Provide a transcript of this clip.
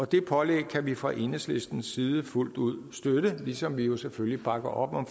det pålæg kan vi fra enhedslistens side fuldt ud støtte ligesom vi jo selvfølgelig bakker op om